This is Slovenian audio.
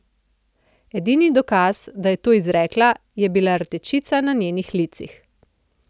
Edini dokaz, da je to izrekla, je bila rdečica na njenih licih.